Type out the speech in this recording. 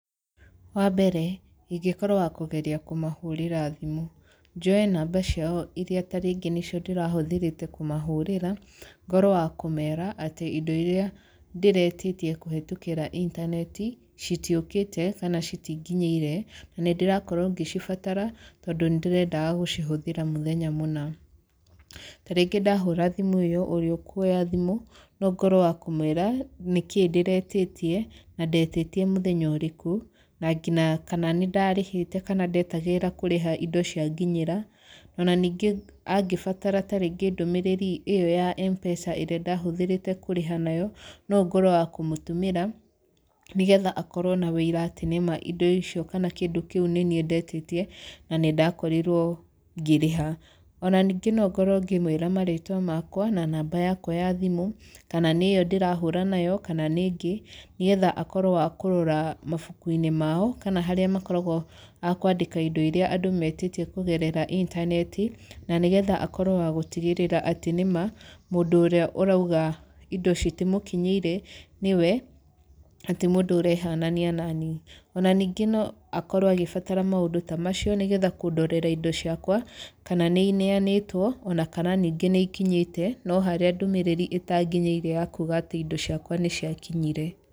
Wa mbere, ingĩkorwo wa kũgeria kũmahũrĩra thimũ. Njoe namba ciao irĩa tarĩngĩ nĩcio ndĩrahũthĩrĩte kũmahũrĩra, ngorwo wa kũmeera atĩ indo irĩa ndĩretĩtie kũhetũkĩra intaneti, citiũkĩte, kana citinginyĩire, na nĩ ndĩrakorwo ngĩcibatara, tondũ nĩ ndĩrendaga gũcihũthĩra mũthenya mũna. Tarĩngĩ ndahũra thimũ ĩyo, ũrĩa ũkuoya thimũ, no ngorwo wa kũmũĩra nĩkĩĩ ndĩretĩtie, na ndetĩtie mũthenya ũrĩkũ, na ngina kana nĩ ndarĩhĩte kana ndetagĩrĩra kũrĩha indo cianginyĩra. Ona ningĩ angĩbatara tarĩngĩ ndũmĩrĩri ĩyo ya M-Pesa ĩrĩa ndahũthĩrĩte kũrĩha nayo, no ngorwo wa kũmũtũmĩra, nĩgetha akorwo na wĩira atĩ nĩma indo icio kana kĩndũ kĩu nĩniĩ ndetĩtie, na nĩ ndakorirwo ngĩrĩha. Ona ningĩ no ngorwo ngĩmũĩra marĩtwa makwa, na namba yakwa ya thimũ, kana nĩ ĩyo ndĩrahũra nayo, kana nĩ ĩngĩ. Nĩgetha akorwo wa kũrora mabuku-inĩ mao kana harĩa makoragwo a kũandĩka indo irĩa andũ metĩtie kũgerera intaneti, na nĩgetha akorwo wa gũtigĩrĩra atĩ nĩma, mũndũ ũrĩa ũrauga indo citimũkinyĩire, nĩwe na ti mũndũ ũrehanania naniĩ. Ona ningĩ no akorwo agĩbatara maũndũ ta macio, nĩgetha kũndorera indo ciakwa, kana nĩ ineanĩtwo, ona kana ningĩ nĩ ikinyĩte, no harĩa ndũmĩrĩri ĩtanginyĩire ya kuuga atĩ indo ciakwa nĩ ciakinyire.